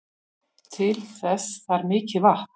Til þess þarf mikið vatn.